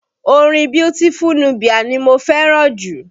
Orin Beautiful Nubia ni mo fẹ́ràn jù